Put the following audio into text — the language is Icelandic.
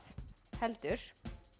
heldur